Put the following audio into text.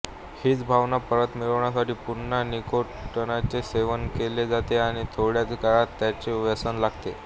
हीच भावना परत मिळविण्यासाठी पुन्हा निकोटीनचे सेवन केले जाते आणि थोड्याच काळात त्याचे व्यसन लागते